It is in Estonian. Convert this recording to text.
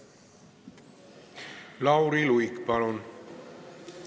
Lauri Luik, palun!